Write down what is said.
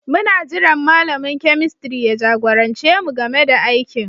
Muna jiran malamin kemistiri ya jagorance mu game da aikin